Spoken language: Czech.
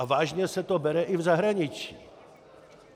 A vážně se to bere i v zahraničí.